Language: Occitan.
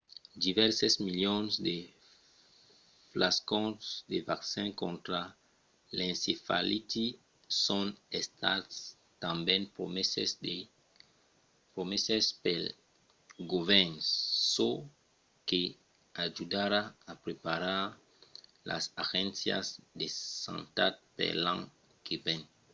divèrses milions de flascons de vaccin contra l'encefaliti son estats tanben promeses pel govèrn çò que ajudarà a preparar las agéncias de santat per l'an que ven